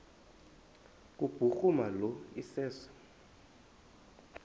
kubhuruma lo iseso